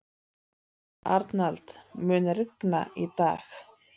Arnald, mun rigna í dag?